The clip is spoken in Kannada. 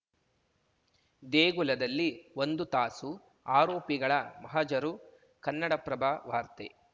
ದೇಗುಲದಲ್ಲಿ ಒಂದು ತಾಸು ಆರೋಪಿಗಳ ಮಹಜರು ಕನ್ನಡಪ್ರಭ ವಾರ್ತೆ